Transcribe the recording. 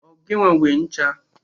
Ọ gịnwa nwee ncha a?